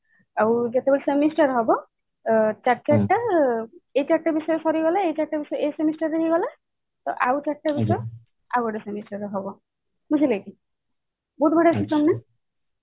ଆଉ ଏବେ ତ semester ହବ ଚାରି ଚାରି ଟା ବିଷୟ ସରିଗଲେ ଏଇ semester ର ହେଇଗଲା ତ ଆଉ ଚାରିଟା ବିଷୟ ଆଉ ଗୋଟେ semester ରେ ହବ ବୁଝିଲେ କି